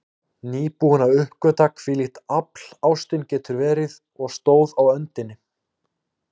Nýbúin að uppgötva hvílíkt afl ástin getur verið, og stóð á öndinni.